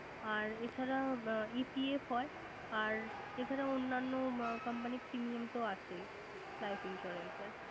আর এছাড়া EPF হয়। আরেএছাড়া অন্যান্য Company র Premium তো আছেই life insurance এর